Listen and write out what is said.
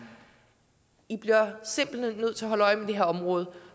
i bliver simpelt hen nødt til at holde øje med det her område